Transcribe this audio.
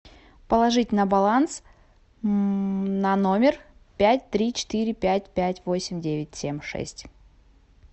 положить на баланс на номер пять три четыре пять пять восемь девять семь шесть